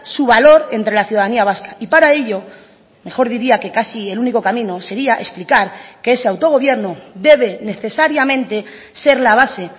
su valor entre la ciudadanía vasca y para ello mejor diría que casi el único camino sería explicar que ese autogobierno debe necesariamente ser la base